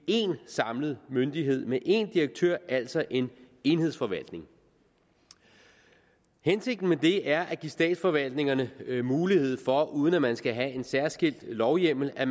én samlet myndighed med én direktør altså en enhedsforvaltning hensigten med det er at give statsforvaltningerne mulighed for uden at man skal have en særskilt lovhjemmel at